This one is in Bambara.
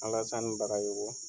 Alasani Bagayogo.